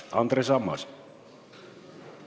Andres Ammas, palun!